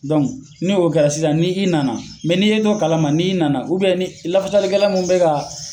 Dɔnki n' o kɛra sisan ni i nana mɛ n'i o t'o kala ma ni i nana ni i lafasalikɛla min bɛ ka